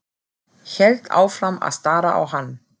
Hélt áfram að stara á hann.